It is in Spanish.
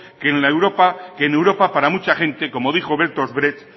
que en europa para mucha gente como dijo bertolt brecht